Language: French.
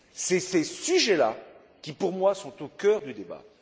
Ce sont ces sujets là qui, pour moi, sont au cœur du débat.